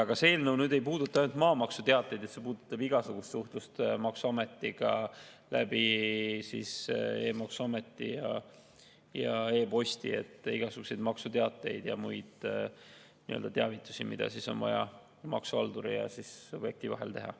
Aga see eelnõu ei puuduta ainult maamaksuteateid, see puudutab igasugust suhtlust maksuametiga e-maksuameti ja e-posti kaudu, et saata igasuguseid maksuteateid ja muid teavitusi, mida on vaja maksuhalduri ja subjekti vahel teha.